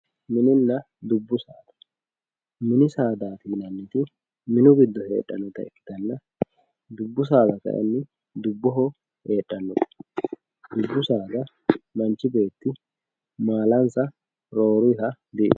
mininna dubbu saada mini saadati yinanniti mini giddo heedhannota ikkitanna dubbu saada kayiinni dubboho heedhannote dubbu saadaha manchi beetti maalansa roorunniha di'itanno.